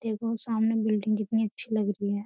देखो सामने बिल्डिंग कितनी अच्छी लग रही है।